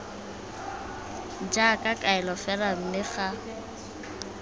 jaaka kaelo fela mme ga